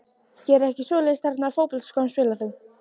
Geri ekki svoleiðis Í hvernig fótboltaskóm spilar þú?